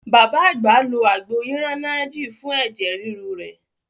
Bàbá àgbà lo àgbo iranaji fun ẹ̀jẹ̀ ríru rẹ̀.